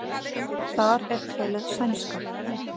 Þar er töluð sænska.